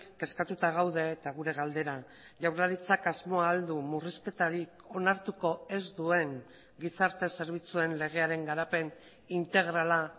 kezkatuta gaude eta gure galdera jaurlaritzak asmoa ahal du murrizketarik onartuko ez duen gizarte zerbitzuen legearen garapen integrala